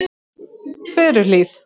Furuhlíð